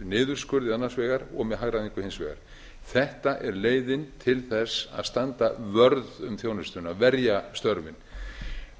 niðurskurði annars vegar og með hagræðingu hins vegar þetta er leiðin til þess að standa vörð um þjónustuna verja störfin